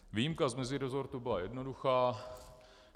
Výjimka z meziresortu byla jednoduchá.